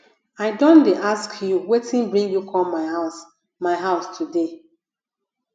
i don dey ask you wetin bring you come my house my house today